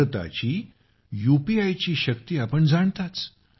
भारतातील यूपीआयची शक्ती आपण जाणताच